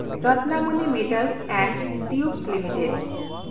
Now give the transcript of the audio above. Ratnamani metals and tubes limited